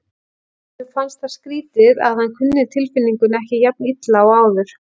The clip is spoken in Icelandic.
Honum fannst það skrýtið að hann kunni tilfinningunni ekki jafn illa og áður.